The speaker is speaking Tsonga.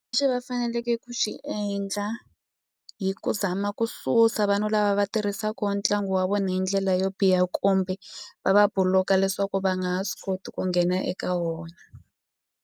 va faneleke ku xi endla hi ku zama ku susa vanhu lava va tirhisaka ntlangu wa vona hi ndlela yo biha kumbe va va buluka leswaku va nga ha swi koti ku nghena eka wona.